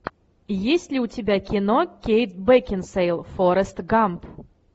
есть ли у тебя кино кейт бекинсейл форрест гамп